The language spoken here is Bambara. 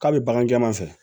K'a bɛ bagan jɛman fɛ